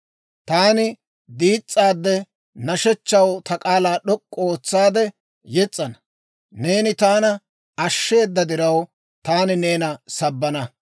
Taani diis's'aade, nashshechchaw ta k'aalaa d'ok'k'u ootsaade yes's'ana; neeni taana ashsheeda diraw, taani neena sabbana.